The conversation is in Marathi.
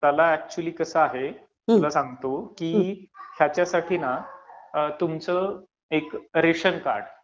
त्याला अच्युअली कसं आहे तुला सांगतो, त्याच्यासाठी तुमचं एक रेशन कार्ड